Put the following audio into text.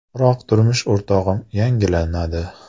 Biroq turmush o‘rtog‘im “yangilanadi”.